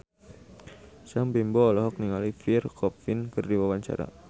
Sam Bimbo olohok ningali Pierre Coffin keur diwawancara